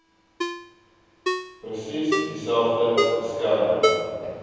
presies dieselfde beskerming